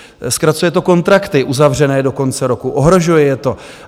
Zkracuje to kontrakty uzavřené do konce roku, ohrožuje je to.